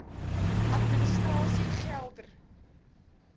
administrasiegeldr